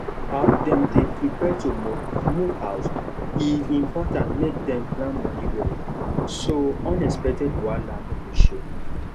as dem dey prepare to move move house e important make dem plan money well so unexpected wahala no go show